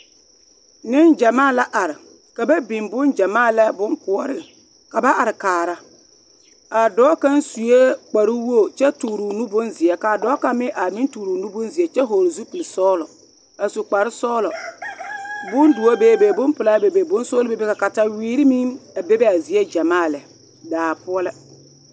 Niŋgyamaa la are ka ba biŋ bongyama la boŋkoɔre ka ba are kaara a dɔɔ kaŋ sue kpare woge kyɛ tɔɔrɔɔ nu bonzeɛ kaa dɔɔ kaŋ meŋ tɔɔrɔɔ nu bonzeɛ kyɛ seɛ kuri sɔglɔ a su kparesɔglɔ bondoɔ bebe boŋpilaa bebe sɔgle bebe ka kaawere bebe a zie gyamaa lɛ daa poɔ la.